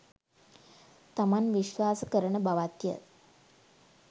තමන් විශ්වාස කරන බවත්ය